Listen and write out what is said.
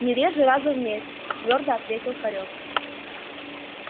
не реже раза в месяц твёрдо ответил хорёк